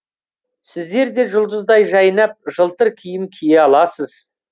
сіздер де жұлдыздай жайнап жылтыр киім кие аласыз